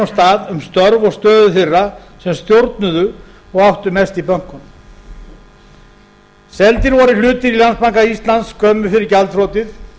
stað um störf og stöðu þeirra sem stjórnuðu og áttu mest í bönkum seldir voru hlutir í landsbanka íslands skömmu fyrir gjaldþrotið